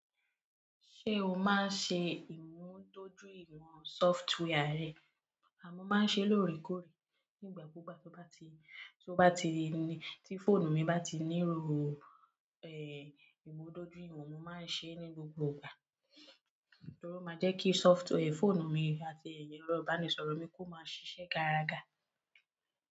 Ṣé o máa ń ṣe ìmúdójúìwọ̀n software rẹ? Mo máa ń ṣe lóòrèkóòrè nígbà kú gbà tí ó bá ti, tí fóònù mi bá ti nílò, ìmúdójúìwọ̀n mó máa ń ṣe ní gbogbo ìgbà. Torí ó máa jẹ́ kí software fóònù mi àti ẹ̀rọ ìbánisọ̀rọ̀ mi kó máa ṣiṣẹ́ garaga.